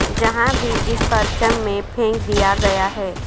جہاں بھی اس پرچم میں پھینک دیا گیا ہے